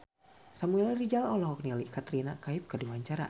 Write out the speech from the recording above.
Samuel Rizal olohok ningali Katrina Kaif keur diwawancara